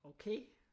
Okay